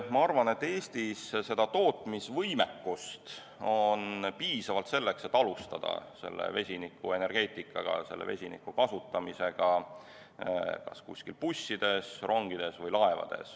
Ma arvan, et Eestis on tootmisvõimekust piisavalt, et alustada vesinikuenergeetika kasutamist, vesiniku kasutamist bussides, rongides või laevades.